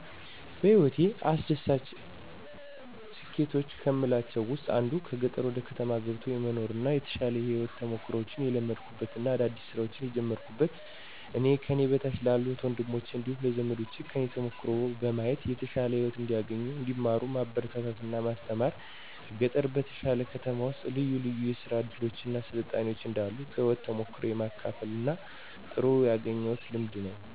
በህይወቴ አስደሳች ስኬቶች ከምላቸው ውስጥ አንዱ ከገጠር ወደ ከተማ ገብቶ የመኖር እና የተሻሉ የህይወት ተሞክሮችን የለመድኩበት እና አዳዲስ ስራዎችን የጀመርኩበት እና ከኔ በታች ላሉ እህት ወንድሞቸ እንዲሁም ለዘመዶቸ ከኔ ተሞክሮ በማየት የተሻለ ህይወት እንዲያገኙ እንዲማሩ ማበረታታት እና ማስተማር ከገጠር በተሻለ ከተማ ውስጥ ልዩ ልዩ የስራ እድሎች እና ስልጣኔዎች እንዳሉ ከህይወት ተሞክሮየ የማካፍልበት እና ጥሩ ያገኘሁት ልምድ ነው።